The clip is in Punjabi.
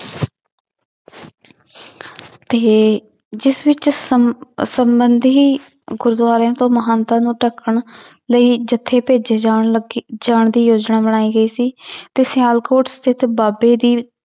ਤੇ ਜਿਸ ਵਿੱਚ ਸਮ~ ਸੰਬੰਧੀ ਗੁਰਦੁਆਰਿਆਂ ਤੋਂ ਮਹੰਤਾਂ ਨੂੰ ਧੱਕਣ ਲਈ ਜੱਥੇ ਭੇਜੇ ਜਾਣ ਲੱਗੇ ਜਾਣ ਦੀ ਯੋਜਨਾ ਬਣਾਈ ਗਈ ਸੀ ਤੇ ਸਿਆਲਕੋਟ ਸਥਿੱਤ ਬਾਬੇ ਦੀ